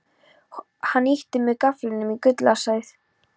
Hann ýtti með gafflinum í gúllasið.